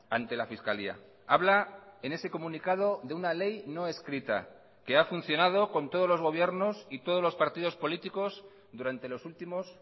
ante la fiscalía habla en ese comunicado de una ley no escrita que ha funcionado con todos los gobiernos y todos los partidos políticos durante los últimos